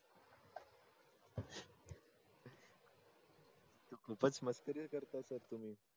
खूपच मस्करी करता सर तुम्ही.